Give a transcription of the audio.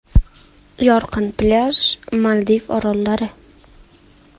Yorqin plyaj, Maldiv orollari.